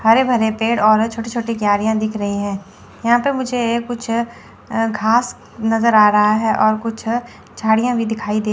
हरे भरे पेड़ और छोटे छोटे झाड़ियां दिख रही हैं यहां पे मुझे कुछ घास नजर आ रहा है और कुछ झाड़ियां भी दिखाई दे--